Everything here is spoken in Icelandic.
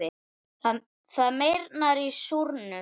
Það meyrnar í súrnum.